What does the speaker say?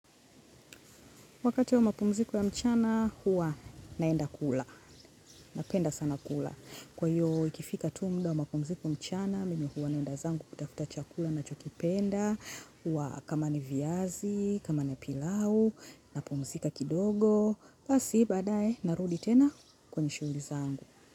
Wakati wa mapumziko ya mchana, huwa naenda kula. Napenda sana kula. Kwa hiyo, ikifika tu muda wa mapumziko mchana, mimi huwa naenda zangu kutafuta chakula nachokipenda, huwa kama ni viazi, kama ni pilau, napumzika kidogo. Basi, baadae narudi tena kwenye shughuli zangu.